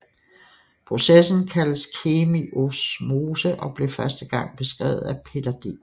Processen kaldes kemiosmose og blev første gang beskrevet af Peter D